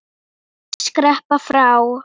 Skreppa frá?